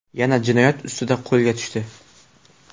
yana jinoyat ustida qo‘lga tushdi.